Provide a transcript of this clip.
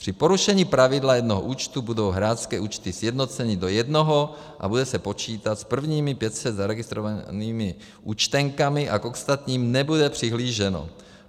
Při porušení pravidla jednoho účtu budou hráčské účty sjednoceny do jednoho a bude se počítat s prvními 500 zaregistrovanými účtenkami a k ostatním nebude přihlíženo.